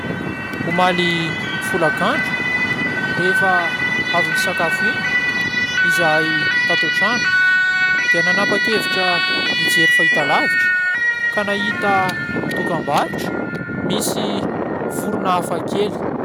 Omaly folakandro, rehefa avy nisakafo iny izahay tato an-trano dia nanapa-kevitra ny hijery fahitalavitra, ka nahita dokam-barotra misy vorona hafakely.